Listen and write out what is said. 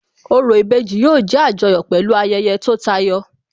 Orò ìbejì yóò jẹ́ Àjọyọ̀ pẹ̀lú ayẹyẹ tó yàtọ̀